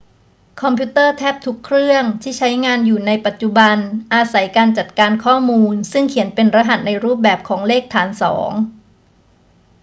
คอมพิวเตอร์แทบทุกเครื่องที่ใช้งานอยู่ในปัจจุบันอาศัยการจัดการข้อมูลซึ่งเขียนเป็นรหัสในรูปแบบของเลขฐานสอง